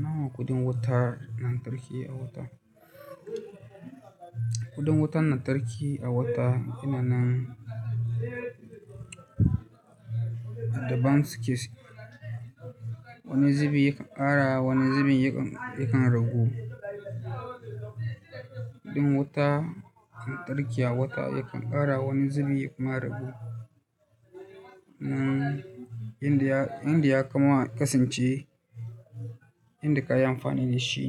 Nawa kuɗin wutar lantarki a wata? Kuɗin wutar lantarki a wata yana nan daban su ke. Wani zubi yakan ƙara, wani zubi yakan ragu. Kuɗin wuta lantarki a wata yakan ƙara, wani zubi kuma ya ragu. Mm, inda ya, inda ya kuma kasance inda kayi amfani da shi.